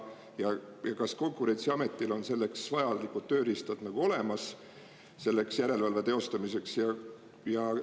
Ja kas Konkurentsiametil on selleks vajalikud tööriistad olemas, selleks järelevalve teostamiseks?